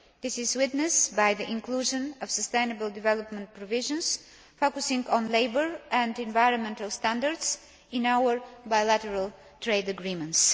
This is witnessed by the inclusion of sustainable development provisions focusing on labour and environmental standards in our bilateral trade agreements.